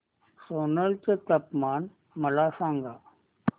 सोलन चे तापमान मला सांगा